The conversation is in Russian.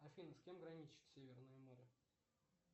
афина с кем граничит северное море